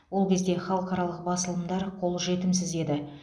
ол кезде халықаралық басылымдар қолжетімсіз еді